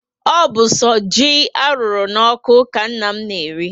O bu so ji arụrụ n'oku ka nna m na-eri